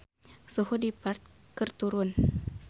Suhu di Perth keur turun